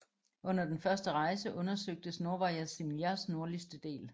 Under den første rejse undersøgtes Novaja Zemljas nordligste del